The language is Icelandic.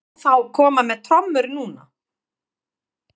Má þá koma með trommur núna?